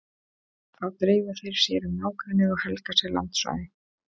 Þá dreifa þeir sér um nágrennið og helga sér landsvæði.